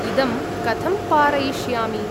इदं कथं पारयिष्यामि?